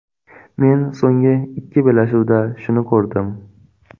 Men so‘nggi ikki bellashuvda shuni ko‘rdim.